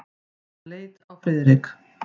Hann leit á Friðrik.